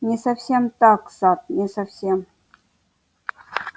не совсем так сатт не совсем